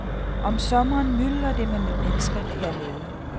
Om sommeren myldrer det med mennesker hernede.